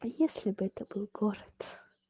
а если бы это был город